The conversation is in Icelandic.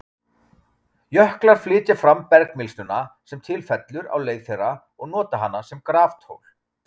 Jöklar flytja fram bergmylsnuna sem til fellur á leið þeirra og nota hana sem graftól.